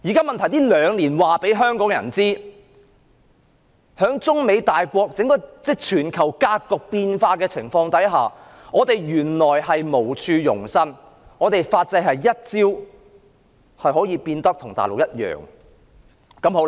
問題是這兩年讓香港人認識到，在中美大國關係以至全球格局變化的情況下，我們原來是無處容身，我們的法制可以一朝變得跟大陸一樣。